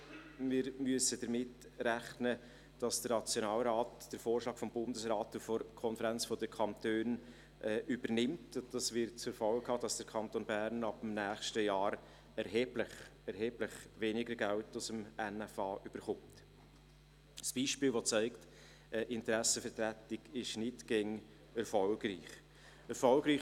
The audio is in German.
Wir müssen damit rechnen, dass der Nationalrat den Vorschlag des Bundesrates und der KdK übernimmt, und dies wird zur Folge haben, dass der Kanton Bern ab dem nächsten Jahr weniger Geld aus dem NFA erhält – ein Beispiel, das zeigt, dass Interessenvertretung nicht immer erfolgreich ist.